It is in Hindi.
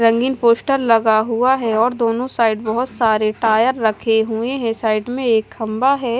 रंगीन पोस्टर लगा हुआ है और दोनों साइड बहोत सारे टायर रखे हुए हैं साइड में एक खंभा है।